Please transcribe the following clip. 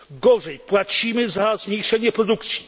Gorzej płacimy za zmniejszenie produkcji.